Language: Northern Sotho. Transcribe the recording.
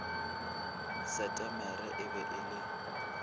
setemere e be e le